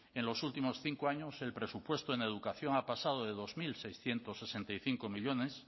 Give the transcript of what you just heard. en los últimos cinco años el presupuesto en educación ha pasado de dos mil seiscientos sesenta y cinco millónes